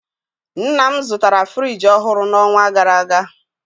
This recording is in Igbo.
Nna m zụtara friji ọhụrụ n'ọnwa gara aga